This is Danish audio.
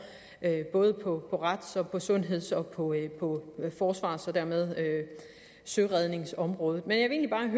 både på rets på sundheds og på forsvars og dermed søredningsområdet men jeg